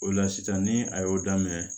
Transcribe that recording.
O la sisan ni a y'o daminɛ